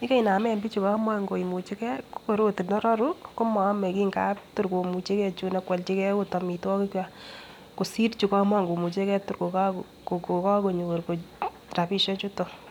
yekinamen bichu komokomuchegee ko kor ot ndororu komo omekii ngap tor komuchegee chuno kwoljigee ot omitwokik kwak kosir chukomokomuchegee tor kokokonyor rabishek chutok.